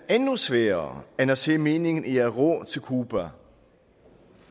sværere end at se meningen i at ro til cuba